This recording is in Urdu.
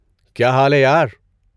کیا حال ہے، یار؟